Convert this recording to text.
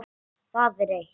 Það er eitt.